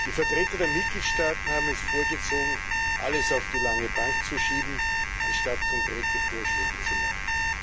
Die Vertreter der Mitgliedstaaten haben es vorgezogen, alles auf die lange Bank zu schieben, anstatt konkrete Vorschläge zu machen.